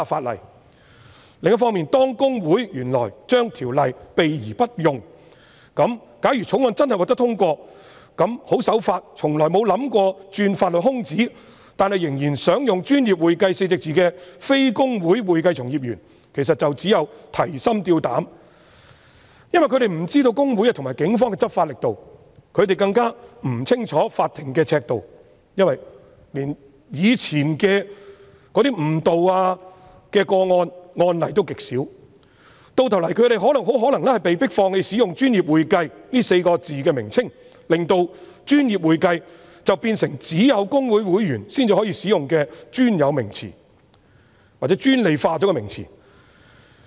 另一方面，公會原來對《條例》避而不用，假如《條例草案》真的獲得通過，那麼十分守法，從來沒有意圖鑽法律空子，但仍然想使用"專業會計"稱謂的非公會會計從業員便會提心吊膽，因為他們不知道會公會和警方的執法力度，他們更不清楚法庭的尺度，因為連過去的誤導個案及案例也極少，到頭來他們很可能被迫放棄使用"專業會計"的稱謂，令"專業會計"變成只有公會會員才能使用的專有名詞，或專利化的名詞。